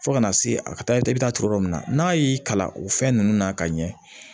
Fo ka na se a ka taa yen i bɛ taa turu yɔrɔ min na n'a y'i kalan o fɛn ninnu na ka ɲɛ